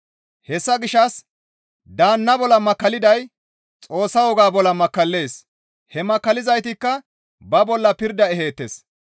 Hessa gishshas daanna bolla makkalliday Xoossa wogaa bolla makkallees. He makkallizaytikka ba bolla pirda eheettes.